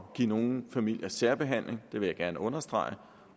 give nogle familier særbehandling det vil jeg gerne understrege